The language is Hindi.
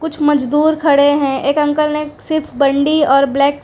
कुछ मजदूर खड़े है एक अंकल ने सिर्फ बंडी और ब्लैक --